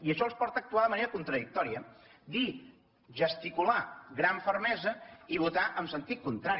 i això els porta a actuar de manera contradictòria dir gesticular gran fermesa i votar en sentit contrari